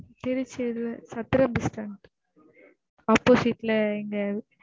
திருச்சில Chathiram bus stand opposite ல எங்க